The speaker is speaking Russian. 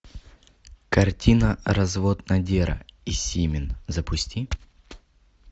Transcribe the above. картина развод надера и симин запусти